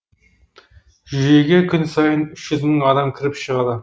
жүйеге күн сайын үш жүз мың адам кіріп шығады